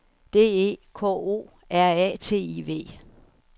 D E K O R A T I V